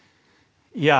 ja